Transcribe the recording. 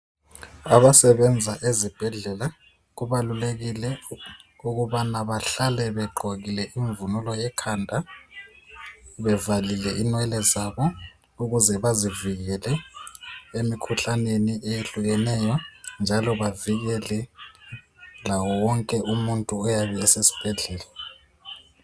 Abasebenza ezibhedlela kubalulekile ukubana bahlale begqokile imvunulo ekhanda bevalile inwele zabo ukuze bazivikele emikhuhlaneni eyehlukeneyo njalo bavikele lawo wonke umuntu oyabe esesibhedlela